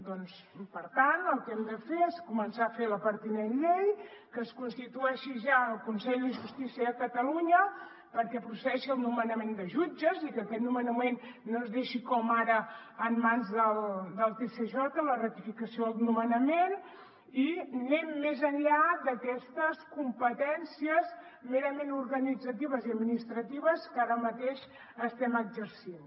doncs per tant el que hem de fer és començar a fer la pertinent llei que es constitueixi ja el consell de justícia de catalunya perquè procedeixi al nomenament de jutges i que aquest nomenament no es deixi com ara en mans del tsj la ratificació del nomenament i anem més enllà d’aquestes competències merament organitzatives i administratives que ara mateix estem exercint